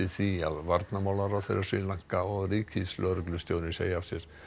því að varnarmálaráðherra Sri Lanka og ríkislögreglustjóri segi af sér